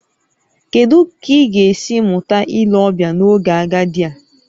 Kedu ka ị ga-esi mụta ile ọbịa n'oge agadi a?